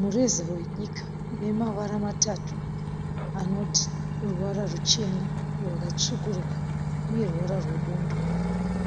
Mureza wenyika une mavara matatu anoti, ruvara ruchena, rwakatsvukuruka uye ruvara rwebundo.